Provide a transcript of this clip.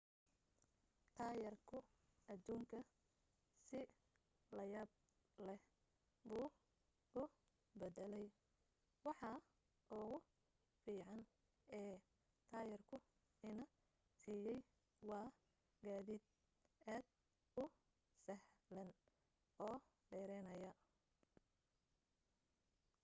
taayirku aduunka si la yaab leh buu u bedelay waxa ugu fiican ee taayirku ina siiyay waa gaadiid aad u sahlan oo dheeraynaya